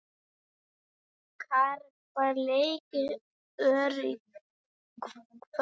Kara, hvaða leikir eru í kvöld?